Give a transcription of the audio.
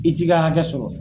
I t'i ka hakɛ sɔrɔ.